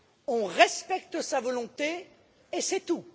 On respecte sa volonté, et c'est tout.